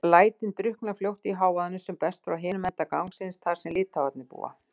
lætin drukkna fljótt í hávaðanum sem berst frá hinum enda gangsins, þar sem Litháarnir búa.